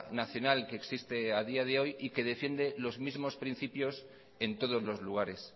nacional que existe a día de hoy y que defiende los mismos principios en todos los lugares